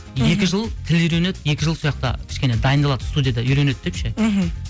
екі жыл тіл үйренеді екі жыл сояқта кішкене дайындалады студияда үйренеді деп ше мхм